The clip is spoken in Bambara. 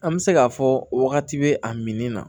An bɛ se k'a fɔ wagati bɛ a min na